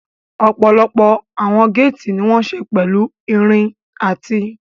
Ọ̀pọ̀lọpọ̀ àwọn géètì ní wọ́n ṣe pẹ̀lú irin àti